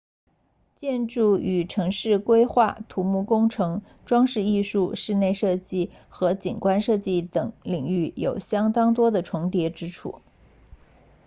建筑与城市规划土木工程装饰艺术室内设计和景观设计等领域有相当多的重叠之处